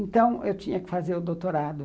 Então, eu tinha que fazer o doutorado.